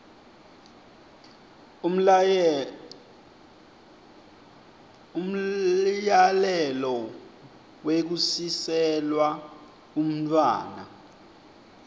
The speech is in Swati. umyalelo wekusiselwa umntfwana